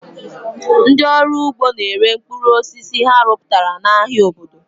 Ndị ọrụ ugbo ga-ere mkpụrụ osisi ha rụpụtara n'ahịa obodo.